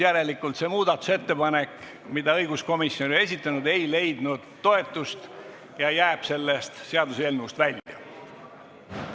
Järelikult see muudatusettepanek, mille õiguskomisjon on esitanud, ei leidnud toetust ja jääb sellest seaduseelnõust välja.